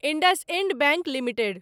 IndusInd bank limited